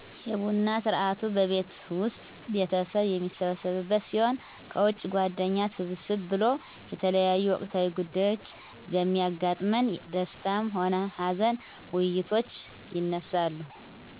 የቡና ስርአቱ በቤት ዉስጥ ቤተሰብ የሚሰበሰብበት ሲሆን ከዉጭ ጓደኛ ሰብሰብ ብሎ የተለያዮ ወቅታዊ ጉዳዮች በሚያጋጥመን ደስታም ሆነ ሀዘን ዉይይቶች ይነሳሉ